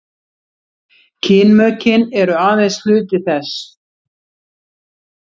kynmökin eru aðeins hluti þess